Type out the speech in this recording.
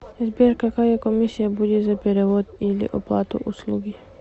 сбер какая комиссия будет за перевод или оплату услуги